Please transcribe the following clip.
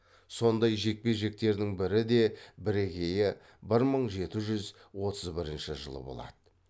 сондай жекпе жектердің бірі де бірегейі бір мың жеті жүз отыз бірінші жылы болады